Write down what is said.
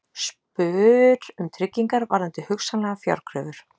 Spyr um tryggingar varðandi hugsanlegar fjárkröfur